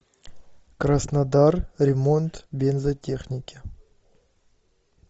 краснодар ремонт бензотехники